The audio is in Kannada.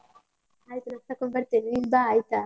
ಆಯ್ತು, ನಾನು car ತಕೊಂಡು ಬರ್ತೇನೆ ನೀನ್ ಬಾ ಆಯ್ತಾ.